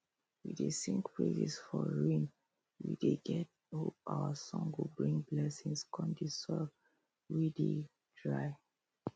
we dey sing praises for rainwe dey get hope our song go bring blessings com the soil wey dey dry